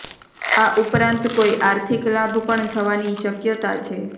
આ ઉપરાંત કોઈ આર્થિક લાભ પણ થવાની શક્યતા છે